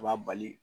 A b'a bali